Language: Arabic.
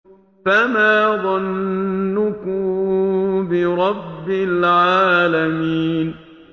فَمَا ظَنُّكُم بِرَبِّ الْعَالَمِينَ